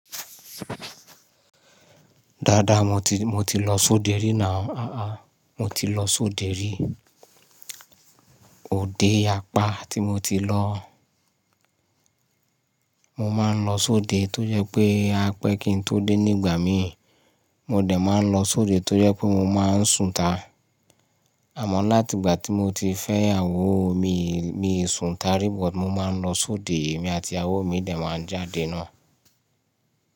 Dáadáa mo ti, mo ti lọ sóde rí náà. Àá mo ti lọ sóde rí. Óde apá tí mo ti lọ, mo máa ń lọ sóde tó jẹ́ pé á pẹ́ kí n tó dé nígbà mi. Mo dẹ̀ máa ń lọ sóde tó jẹ́ pé mo máa ń sùn itá. Àmọ́ láti ìgbà tí mo ti fẹ́ ìyàwó mi, mi sùn ta rí but mo máa ń lọ sóde, èmi àti ìyàwó mi dẹ̀ máa ń jáde náà.